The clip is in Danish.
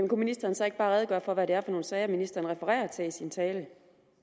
kunne ministeren så ikke bare redegøre for hvad det er for nogle sager ministeren refererer til i sin tale